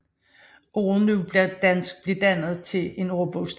Ordet nudansk blev dannet til en ordbogstitel